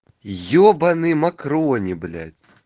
ёбанный макрони блять